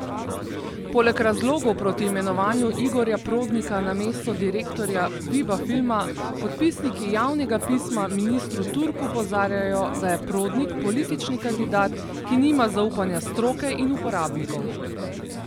Poleg razlogov proti imenovanju Igorja Prodnika na mesto direktorja Viba filma podpisniki javnega pisma ministru Turku opozarjajo, da je Prodnik politični kandidat, ki nima zaupanja stroke in uporabnikov.